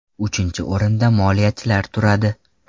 Uchinchi o‘rinda moliyachilar turadi.